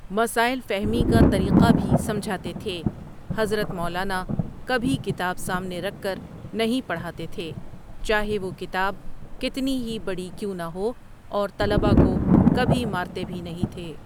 مسائل فہمی کا طریقہ بھی سمجھاتے تھے حضرت مولاناؒ کبھی کتاب سامنے رکھ کر نہیں پڑھاتے تھے، چاہے وہ کتاب کتنی ہی بڑی کیوں نہ ہو اور طلبہ کو کبھی مارتے بھی نہیں تھے۔